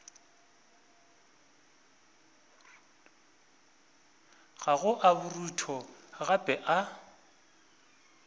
gago a borutho gape a